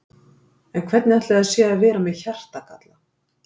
En hvernig ætli það sé að vera með hjartagalla?